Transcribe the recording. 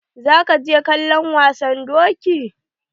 Za ka je kallon wasan doki?